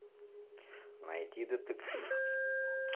найти детектив